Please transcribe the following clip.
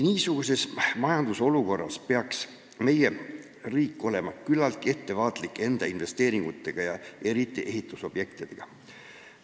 Niisuguses majandusolukorras peaks meie riik olema küllatki ettevaatlik oma investeeringutega, eriti ehitusobjektide rajamisega.